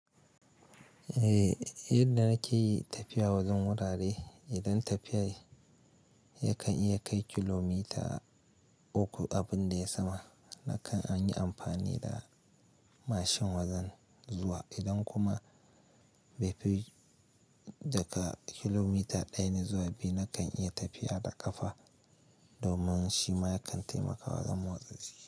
Eh, yadda nake yi tafiya wajen wurare, idan tafiya yakan iya kai kilomita uku abin da ya sama, nakan an yi amfani da mashin wajen zuwa. Idan kuma bai fi daga kilomita ɗaya ne zuwa biyu, nakan iya tafiya da ƙafa domin shi ma yakan taimakawa wajen motsa jiki.